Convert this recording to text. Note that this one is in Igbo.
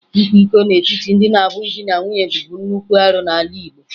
Ịkwa iko n'etiti ndị na-abụghị di na nwunye bụbu nnukwu arụ n'ala Igbo